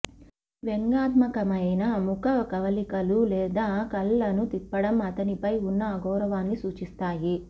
మీ వ్యంగ్యాత్మకమైన ముఖ కవళికలు లేదా కళ్ళను తిప్పడం అతనిపై ఉన్న అగౌరవాన్ని సూచిస్తాయి